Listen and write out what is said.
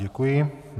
Děkuji.